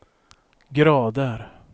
grader